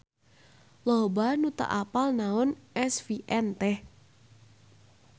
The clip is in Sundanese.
loba nu teu apal naon SVN teh